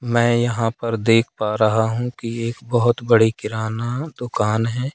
मैं यहां पर देख पा रहा हूं कि एक बहोत बड़ी किराना दुकान है।